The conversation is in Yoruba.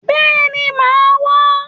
Béèni màá wá